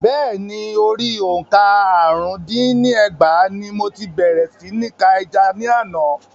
Bẹ́ẹ̀ni, orí òǹkà àrún dín ní ẹgbàá ní mo ti bèrè sí ní ka ẹja ní àná.